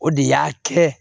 O de y'a kɛ